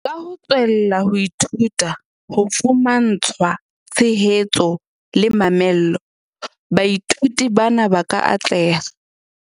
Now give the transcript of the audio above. "Ka ho tswella ho ithuta, ho fumantshwa tshehetso le mamello, baithuti bana ba ka atleha."